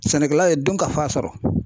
Sɛnɛkɛla ye donkafa sɔrɔ.